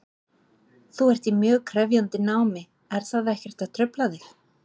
Þú ert í mjög krefjandi námi, er það ekkert að trufla þig?